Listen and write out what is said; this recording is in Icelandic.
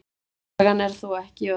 Sagan er þó ekki öll.